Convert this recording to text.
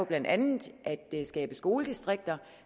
blandt andet kan skabe skoledistrikter